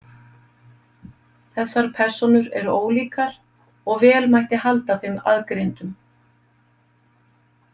Þessar persónur eru ólíkar og vel mætti halda þeim aðgreindum.